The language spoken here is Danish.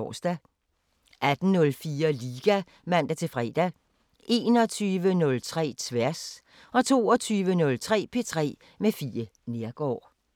18:04: Liga (man-fre) 21:03: Tværs 22:03: P3 med Fie Neergaard